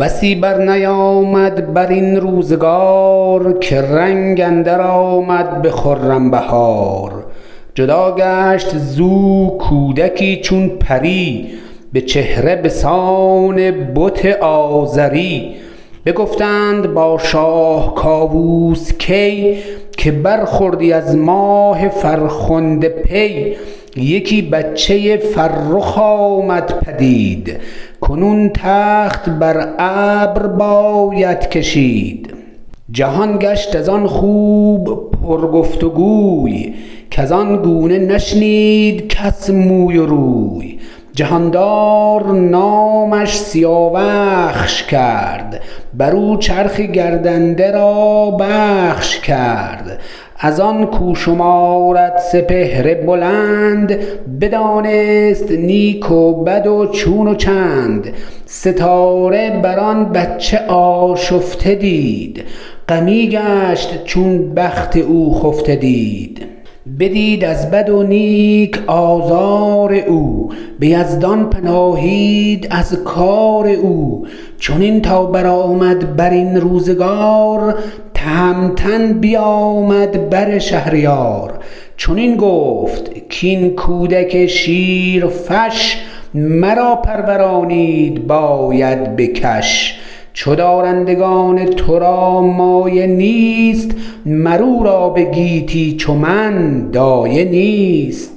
بسی برنیامد برین روزگار که رنگ اندر آمد به خرم بهار جدا گشت زو کودکی چون پری به چهره بسان بت آزری بگفتند با شاه کاووس کی که برخوردی از ماه فرخنده پی یکی بچه فرخ آمد پدید کنون تخت بر ابر باید کشید جهان گشت ازان خوب پر گفت و گوی کزان گونه نشنید کس موی و روی جهاندار نامش سیاوخش کرد برو چرخ گردنده را بخش کرد ازان کاو شمارد سپهر بلند بدانست نیک و بد و چون و چند ستاره بران بچه آشفته دید غمی گشت چون بخت او خفته دید بدید از بد و نیک آزار او به یزدان پناهید از کار او چنین تا برآمد برین روزگار تهمتن بیامد بر شهریار چنین گفت کاین کودک شیرفش مرا پرورانید باید به کش چو دارندگان ترا مایه نیست مر او را بگیتی چو من دایه نیست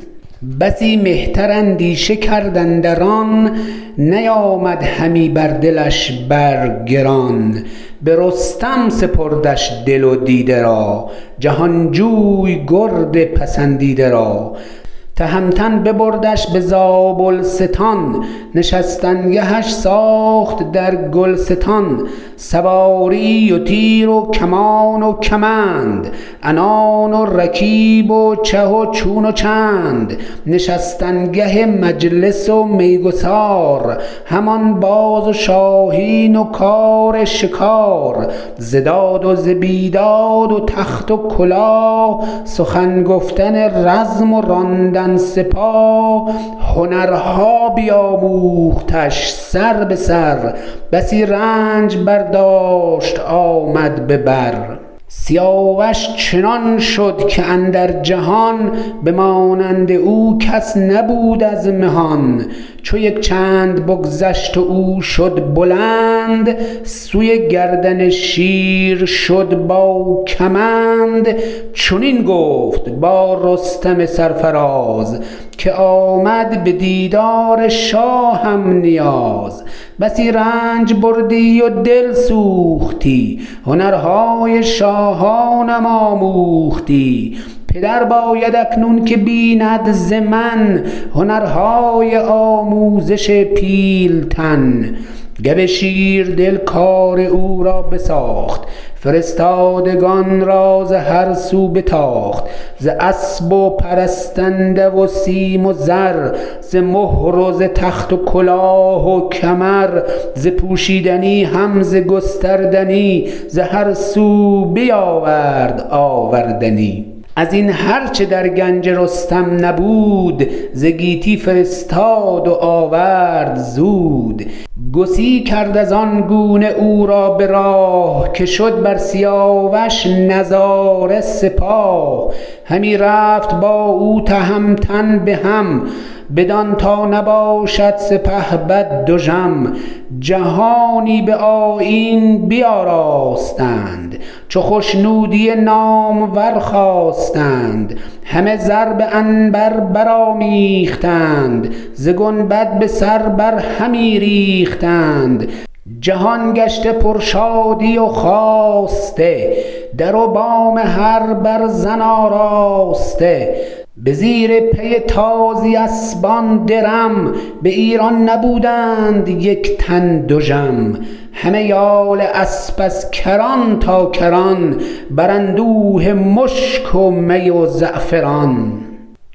بسی مهتر اندیشه کرد اندر آن نیامد همی بر دلش بر گران به رستم سپردش دل و دیده را جهانجوی گرد پسندیده را تهمتن ببردش به زابلستان نشستن گهش ساخت در گلستان سواری و تیر و کمان و کمند عنان و رکیب و چه و چون و چند نشستن گه مجلس و میگسار همان باز و شاهین و کار شکار ز داد و ز بیداد و تخت و کلاه سخن گفتن رزم و راندن سپاه هنرها بیاموختش سر به سر بسی رنج برداشت و آمد به بر سیاوش چنان شد که اندر جهان به مانند او کس نبود از مهان چو یک چند بگذشت و او شد بلند سوی گردن شیر شد با کمند چنین گفت با رستم سرفراز که آمد به دیدار شاهم نیاز بسی رنج بردی و دل سوختی هنرهای شاهانم آموختی پدر باید اکنون که بیند ز من هنرهای آموزش پیلتن گو شیردل کار او را بساخت فرستادگان را ز هر سو بتاخت ز اسپ و پرستنده و سیم و زر ز مهر و ز تخت و کلاه و کمر ز پوشیدنی هم ز گستردنی ز هر سو بیاورد آوردنی ازین هر چه در گنج رستم نبود ز گیتی فرستاد و آورد زود گسی کرد ازان گونه او را به راه که شد بر سیاوش نظاره سپاه همی رفت با او تهمتن به هم بدان تا نباشد سپهبد دژم جهانی به آیین بیاراستند چو خشنودی نامور خواستند همه زر به عنبر برآمیختند ز گنبد به سر بر همی ریختند جهان گشته پر شادی و خواسته در و بام هر برزن آراسته به زیر پی تازی اسپان درم به ایران نبودند یک تن دژم همه یال اسپ از کران تا کران براندوده مشک و می و زعفران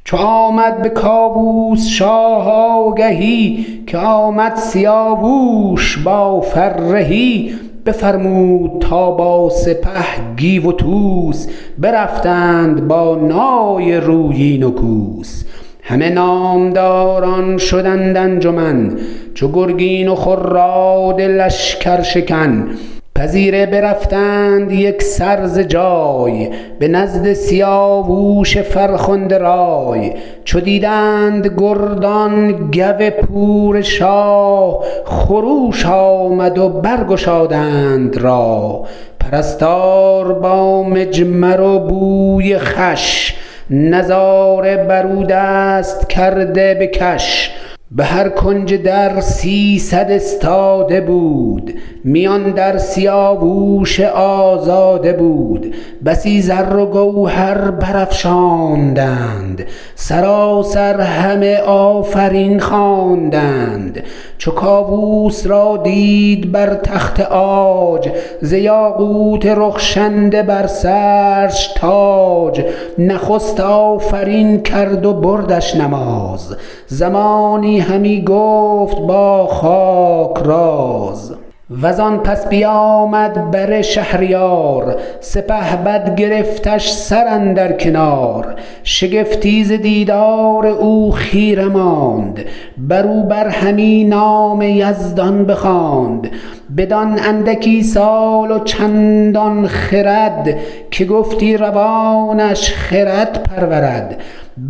چو آمد به کاووس شاه آگهی که آمد سیاووش با فرهی بفرمود تا با سپه گیو و طوس برفتند با نای رویین و کوس همه نامداران شدند انجمن چو گرگین و خراد لشکرشکن پذیره برفتند یکسر ز جای به نزد سیاووش فرخنده رای چو دیدند گردان گو پور شاه خروش آمد و برگشادند راه پرستار با مجمر و بوی خوش نظاره برو دست کرده به کش بهر کنج در سیصد استاده بود میان در سیاووش آزاده بود بسی زر و گوهر برافشاندند سراسر همه آفرین خواندند چو کاووس را دید بر تخت عاج ز یاقوت رخشنده بر سرش تاج نخست آفرین کرد و بردش نماز زمانی همی گفت با خاک راز وزان پس بیامد بر شهریار سپهبد گرفتش سر اندر کنار شگفتی ز دیدار او خیره ماند بروبر همی نام یزدان بخواند بدان اندکی سال و چندان خرد که گفتی روانش خرد پرورد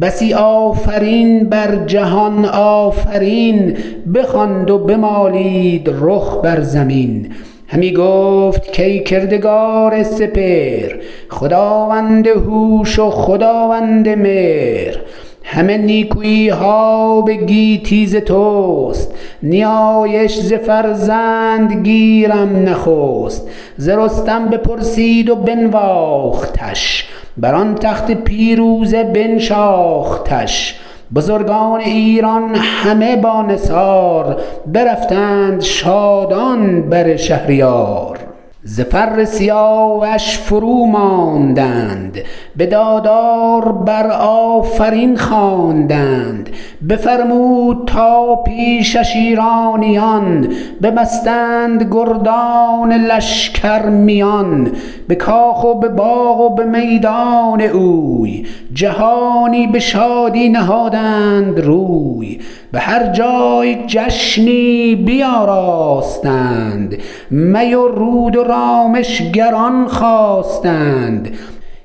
بسی آفرین بر جهان آفرین بخواند و بمالید رخ بر زمین همی گفت کای کردگار سپهر خداوند هوش و خداوند مهر همه نیکویها به گیتی ز تست نیایش ز فرزند گیرم نخست ز رستم بپرسید و بنواختش بران تخت پیروزه بنشاختش بزرگان ایران همه با نثار برفتند شادان بر شهریار ز فر سیاوش فرو ماندند بدادار برآفرین خواندند بفرمود تا پیشش ایرانیان ببستند گردان لشکر میان به کاخ و به باغ و به میدان اوی جهانی به شادی نهادند روی به هر جای جشنی بیاراستند می و رود و رامشگران خواستند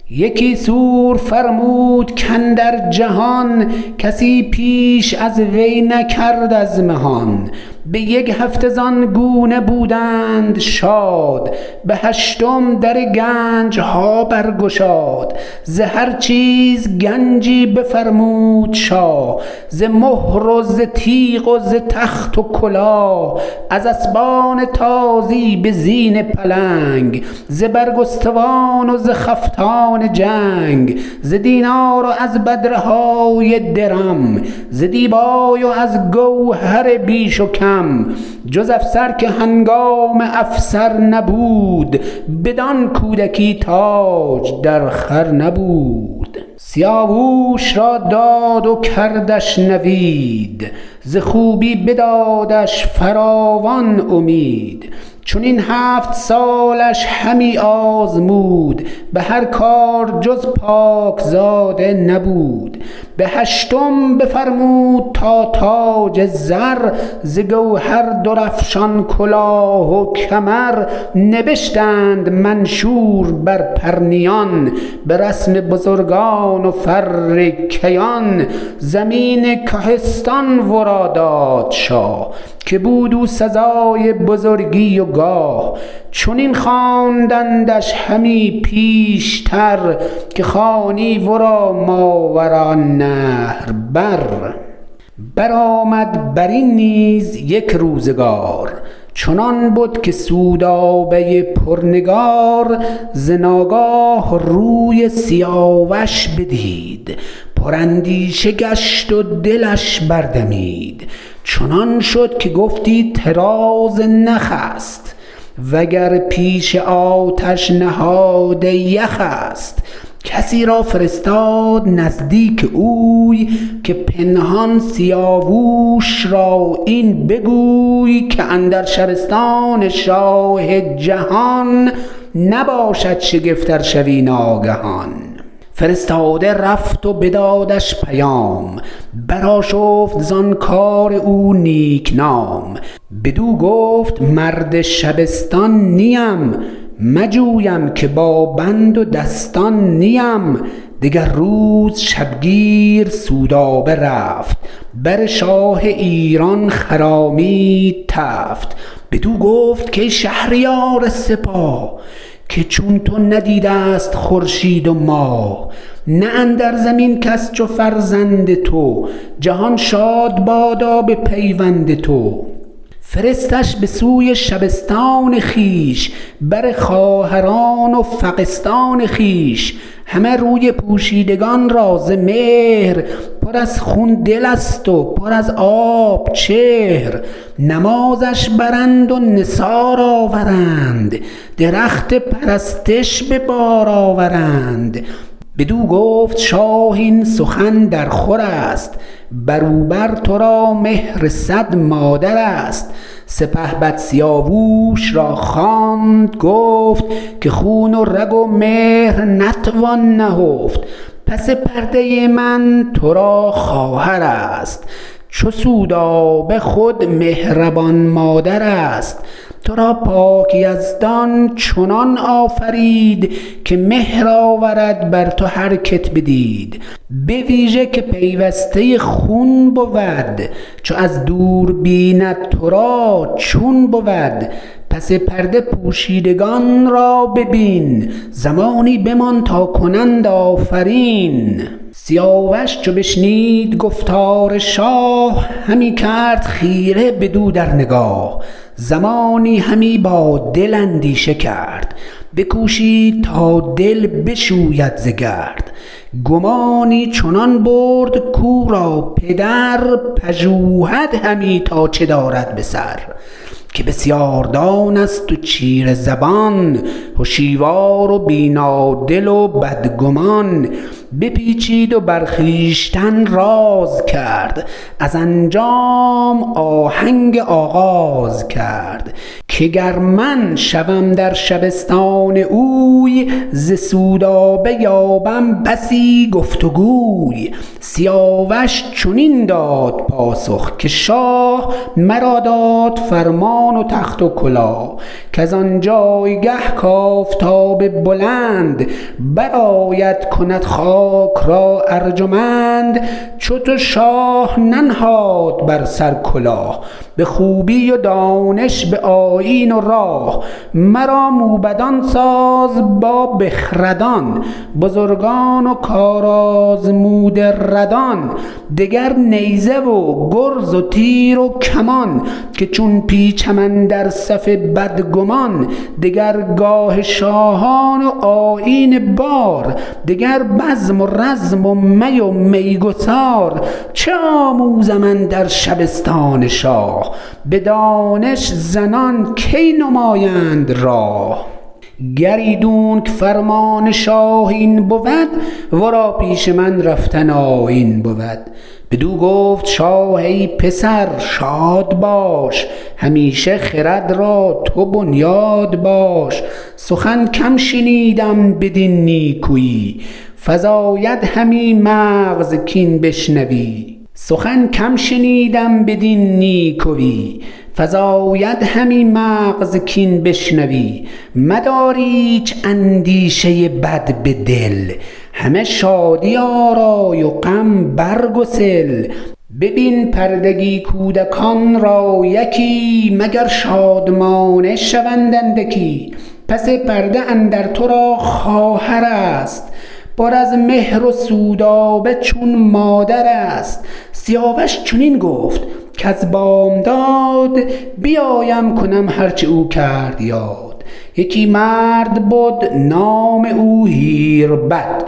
یکی سور فرمود کاندر جهان کسی پیش از وی نکرد از مهان به یک هفته زان گونه بودند شاد به هشتم در گنجها برگشاد ز هر چیز گنجی بفرمود شاه ز مهر و ز تیع و ز تخت و کلاه از اسپان تازی به زین پلنگ ز برگستوان و ز خفتان جنگ ز دینار و از بدره های درم ز دیبای و از گوهر بیش و کم جز افسر که هنگام افسر نبود بدان کودکی تاج در خور نبود سیاووش را داد و کردش نوید ز خوبی بدادش فراوان امید چنین هفت سالش همی آزمود به هر کار جز پاک زاده نبود بهشتم بفرمود تا تاج زر ز گوهر درافشان کلاه و کمر نبشتند منشور بر پرنیان به رسم بزرگان و فر کیان زمین کهستان ورا داد شاه که بود او سزای بزرگی و گاه چنین خواندندش همی پیشتر که خوانی ورا ماوراء النهر بر برآمد برین نیز یک روزگار چنان بد که سودابه پرنگار ز ناگاه روی سیاوش بدید پراندیشه گشت و دلش بردمید چنان شد که گفتی طراز نخ است وگر پیش آتش نهاده یخ است کسی را فرستاد نزدیک اوی که پنهان سیاووش را این بگوی که اندر شبستان شاه جهان نباشد شگفت ار شوی ناگهان فرستاده رفت و بدادش پیام برآشفت زان کار او نیکنام بدو گفت مرد شبستان نیم مجویم که بابند و دستان نیم دگر روز شبگیر سودابه رفت بر شاه ایران خرامید تفت بدو گفت کای شهریار سپاه که چون تو ندیدست خورشید و ماه نه اندر زمین کس چو فرزند تو جهان شاد بادا به پیوند تو فرستش به سوی شبستان خویش بر خواهران و فغستان خویش همه روی پوشیدگان را ز مهر پر ازخون دلست و پر از آب چهر نمازش برند و نثار آورند درخت پرستش به بار آورند بدو گفت شاه این سخن در خورست برو بر ترا مهر صد مادرست سپهبد سیاووش را خواند و گفت که خون و رگ و مهر نتوان نهفت پس پرده من ترا خواهرست چو سودابه خود مهربان مادرست ترا پاک یزدان چنان آفرید که مهر آورد بر تو هرکت بدید به ویژه که پیوسته خون بود چو از دور بیند ترا چون بود پس پرده پوشیدگان را ببین زمانی بمان تا کنند آفرین سیاوش چو بشنید گفتار شاه همی کرد خیره بدو در نگاه زمانی همی با دل اندیشه کرد بکوشید تا دل بشوید ز گرد گمانی چنان برد کاو را پدر پژوهد همی تا چه دارد به سر که بسیاردان است و چیره زبان هشیوار و بینادل و بدگمان بپیچید و بر خویشتن راز کرد از انجام آهنگ آغاز کرد که گر من شوم در شبستان اوی ز سودابه یابم بسی گفت و گوی سیاوش چنین داد پاسخ که شاه مرا داد فرمان و تخت و کلاه کز آنجایگه کآفتاب بلند برآید کند خاک را ارجمند چو تو شاه ننهاد بر سر کلاه به خوبی و دانش به آیین و راه مرا موبدان ساز با بخردان بزرگان و کارآزموده ردان دگر نیزه و گرز و تیر و کمان که چون پیچم اندر صف بدگمان دگرگاه شاهان و آیین بار دگر بزم و رزم و می و میگسار چه آموزم اندر شبستان شاه بدانش زنان کی نمایند راه گر ایدونک فرمان شاه این بود ورا پیش من رفتن آیین بود بدو گفت شاه ای پسر شاد باش همیشه خرد را تو بنیاد باش سخن کم شنیدم بدین نیکوی فزاید همی مغز کاین بشنوی مدار ایچ اندیشه بد به دل همه شادی آرای و غم برگسل ببین پردگی کودکان را یکی مگر شادمانه شوند اندکی پس پرده اندر ترا خواهرست پر از مهر و سودابه چون مادرست سیاوش چنین گفت کز بامداد بیایم کنم هر چه او کرد یاد یکی مرد بد نام او هیربد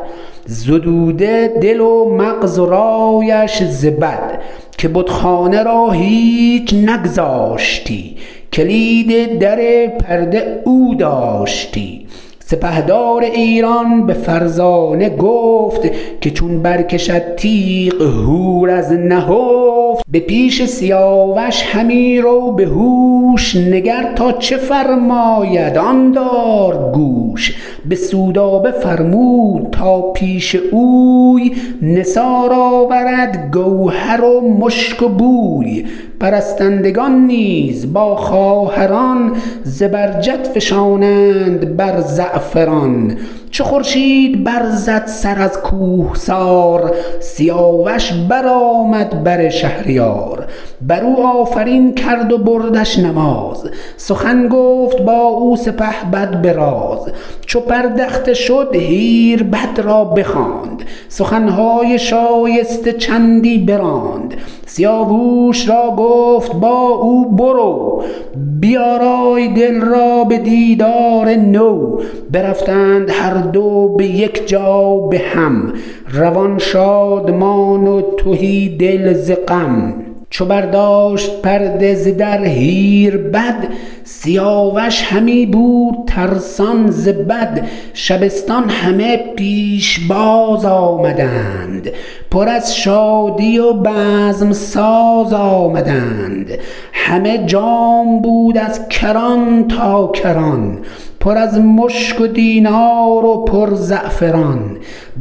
زدوده دل و مغز و رایش ز بد که بتخانه را هیچ نگذاشتی کلید در پرده او داشتی سپهدار ایران به فرزانه گفت که چون برکشد تیغ هور از نهفت به پیش سیاوش همی رو بهوش نگر تا چه فرماید آن دار گوش به سودابه فرمود تا پیش اوی نثار آورد گوهر و مشک و بوی پرستندگان نیز با خواهران زبرجد فشانند بر زعفران چو خورشید برزد سر از کوهسار سیاوش برآمد بر شهریار برو آفرین کرد و بردش نماز سخن گفت با او سپهد به راز چو پردخته شد هیربد را بخواند سخنهای شایسته چندی براند سیاووش را گفت با او برو بیارای دل را به دیدار نو برفتند هر دو به یک جا به هم روان شادمان و تهی دل ز غم چو برداشت پرده ز در هیربد سیاوش همی بود ترسان ز بد شبستان همه پیشباز آمدند پر از شادی و بزم ساز آمدند همه جام بود از کران تا کران پر از مشک و دینار و پر زعفران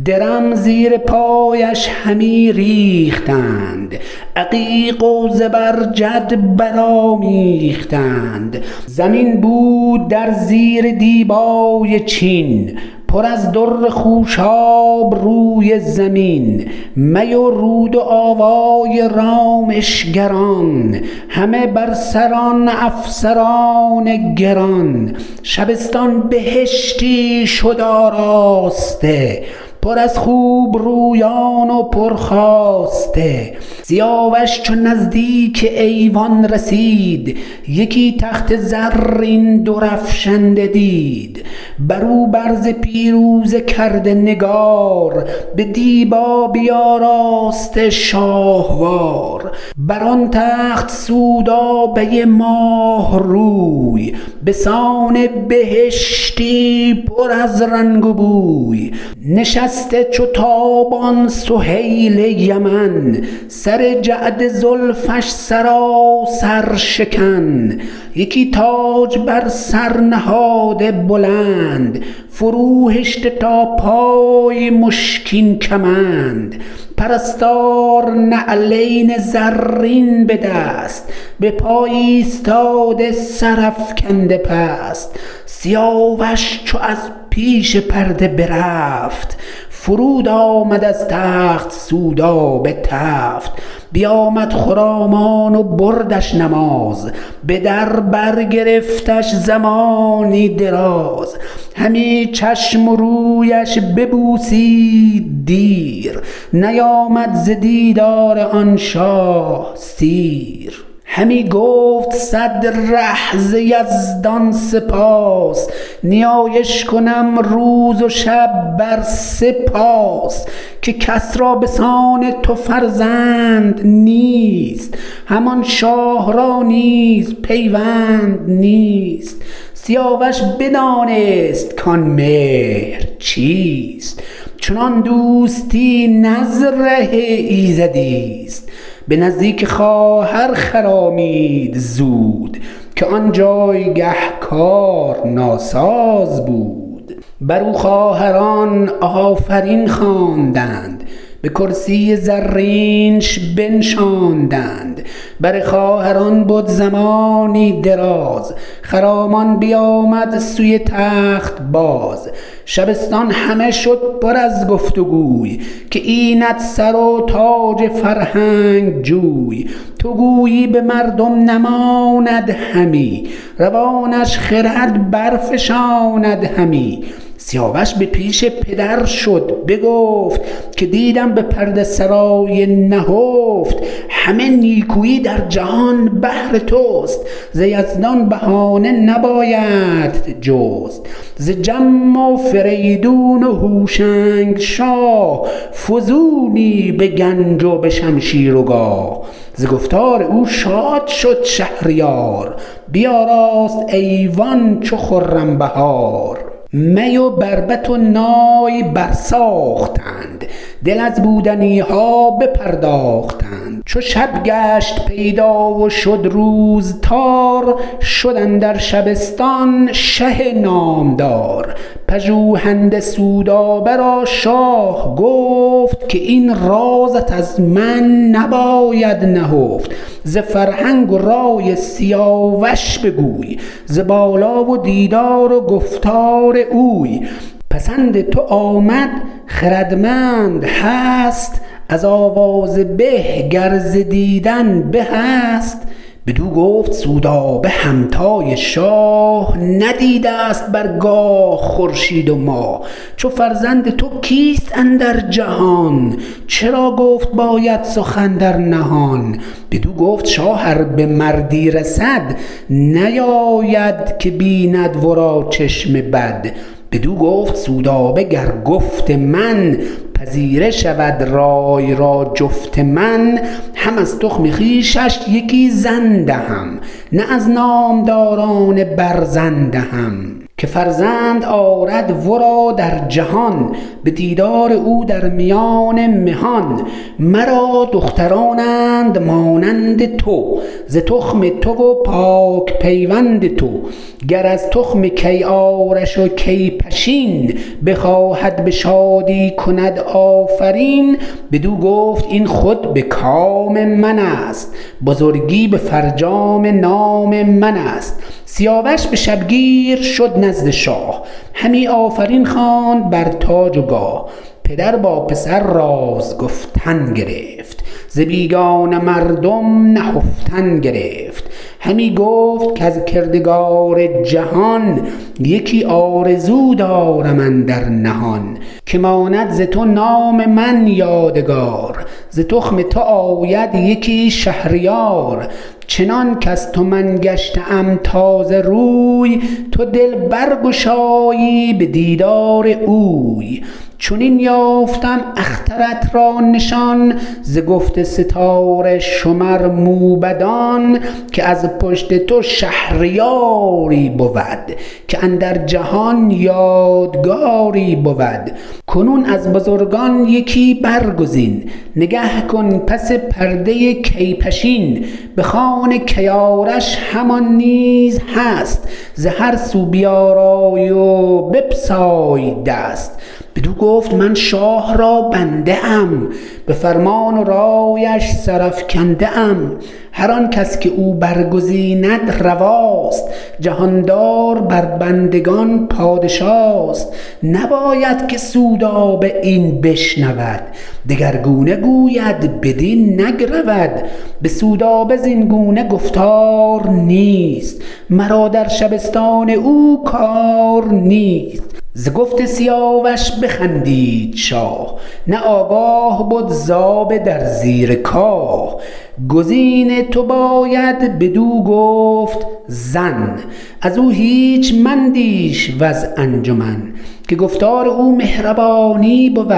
درم زیر پایش همی ریختند عقیق و زبرجد برآمیختند زمین بود در زیر دیبای چین پر از در خوشاب روی زمین می و رود و آوای رامشگران همه بر سران افسران گران شبستان بهشتی شد آراسته پر از خوبرویان و پرخواسته سیاوش چو نزدیک ایوان رسید یکی تخت زرین درفشنده دید برو بر ز پیروزه کرده نگار به دیبا بیاراسته شاهوار بران تخت سودابه ماه روی بسان بهشتی پر از رنگ و بوی نشسته چو تابان سهیل یمن سر جعد زلفش سراسر شکن یکی تاج بر سر نهاده بلند فرو هشته تا پای مشکین کمند پرستار نعلین زرین بدست به پای ایستاده سرافگنده پست سیاوش چو از پیش پرده برفت فرود آمد از تخت سودابه تفت بیامد خرامان و بردش نماز به بر در گرفتش زمانی دراز همی چشم و رویش ببوسید دیر نیامد ز دیدار آن شاه سیر همی گفت صد ره ز یزدان سپاس نیایش کنم روز و شب بر سه پاس که کس را بسان تو فرزند نیست همان شاه را نیز پیوند نیست سیاوش بدانست کان مهر چیست چنان دوستی نز ره ایزدیست به نزدیک خواهر خرامید زود که آن جایگه کار ناساز بود برو خواهران آفرین خواندند به کرسی زرینش بنشاندند بر خواهران بد زمانی دراز خرامان بیامد سوی تخت باز شبستان همه شد پر از گفت وگوی که اینت سر و تاج فرهنگ جوی تو گویی به مردم نماند همی روانش خرد برفشاند همی سیاوش به پیش پدر شد بگفت که دیدم به پرده سرای نهفت همه نیکویی در جهان بهر تست ز یزدان بهانه نبایدت جست ز جم و فریدون و هوشنگ شاه فزونی به گنج و به شمشیر و گاه ز گفتار او شاد شد شهریار بیاراست ایوان چو خرم بهار می و بربط و نای برساختند دل از بودنیها بپرداختند چو شب گشت پیدا و شد روز تار شد اندر شبستان شه نامدار پژوهنده سودابه را شاه گفت که این رازت از من نباید نهفت ز فرهنگ و رای سیاوش بگوی ز بالا و دیدار و گفتار اوی پسند تو آمد خردمند هست از آواز به گر ز دیدن بهست بدو گفت سودابه همتای شاه ندیدست بر گاه خورشید و ماه چو فرزند تو کیست اندر جهان چرا گفت باید سخن در نهان بدو گفت شاه ار به مردی رسد نباید که بیند ورا چشم بد بدو گفت سودابه گر گفت من پذیره شود رای را جفت من هم از تخم خویشش یکی زن دهم نه از نامداران برزن دهم که فرزند آرد ورا در جهان به دیدار او در میان مهان مرا دخترانند مانند تو ز تخم تو و پاک پیوند تو گر از تخم کی آرش و کی پشین بخواهد به شادی کند آفرین بدو گفت این خود بکام منست بزرگی به فرجام نام منست سیاوش به شبگیر شد نزد شاه همی آفرین خواند بر تاج و گاه پدر با پسر راز گفتن گرفت ز بیگانه مردم نهفتن گرفت همی گفت کز کردگار جهان یکی آرزو دارم اندر نهان که ماند ز تو نام من یادگار ز تخم تو آید یکی شهریار چنان کز تو من گشته ام تازه روی تو دل برگشایی به دیدار اوی چنین یافتم اخترت را نشان ز گفت ستاره شمر موبدان که از پشت تو شهریاری بود که اندر جهان یادگاری بود کنون از بزرگان یکی برگزین نگه کن پس پرده کی پشین به خان کی آرش همان نیز هست ز هر سو بیارای و بپساو دست بدو گفت من شاه را بنده ام به فرمان و رایش سرافگنده ام هرآن کس که او برگزیند رواست جهاندار بربندگان پادشاست نباید که سودابه این بشنود دگرگونه گوید بدین نگرود به سودابه زین گونه گفتار نیست مرا در شبستان او کار نیست ز گفت سیاوش بخندید شاه نه آگاه بد ز آب در زیر کاه گزین تو باید بدو گفت زن ازو هیچ مندیش وز انجمن که گفتار او مهربانی بود